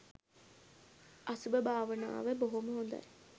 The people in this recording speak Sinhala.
අසුභ භාවනාව බොහොම හොඳයි